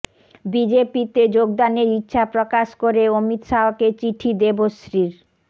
বিজেপিতে যোগদানের ইচ্ছা প্রকাশ করে অমিত শাহকে চিঠি দেবশ্রীর